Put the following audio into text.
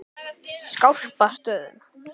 Skálpastöðum